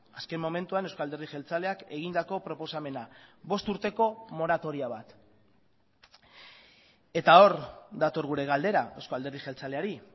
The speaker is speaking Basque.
azken momentuan euzko alderdi jeltzaleak egindako proposamena bost urteko moratoria bat eta hor dator gure galdera euzko alderdi jeltzaleari